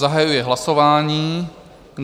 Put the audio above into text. Zahajuji hlasování.